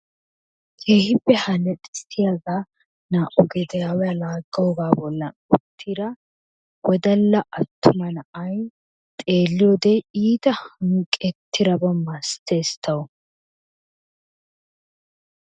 Keehippe haalaxisiyaagaa naa"u gediyaawa lagiyoogaa boollan uuttida wodalla attumma na'ay xeeliyoode iita wuuqetidaba masatees tawu.